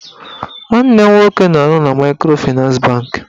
Nwanne m nwoke na-arụ na maịkrofịnans bankị